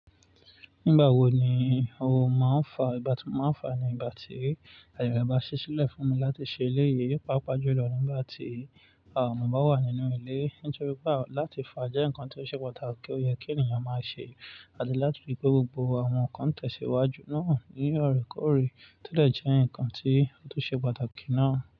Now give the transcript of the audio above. Nígbà wo ni o máa ń fa? Ìgbá ti máa ń fa ni ìgbà tí aye rẹ bá ṣí sílẹ̀ fún mi láti ṣe eléyìí, pàápàá jùlọ nígbà tí mò bá wà nínú ilé. Nítorí pé láti fa jẹ́ nǹkan tió ṣe pàtàkì to yẹ kí ènìyàn máa ṣe, àti láti rí pé gbogbo àwọn nǹkan n tẹ̀síwájú náà ní oorekoore, tó dè jẹ́ nǹkan tí ó tún ṣe pàtàkì náà.